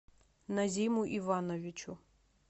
назиму ивановичу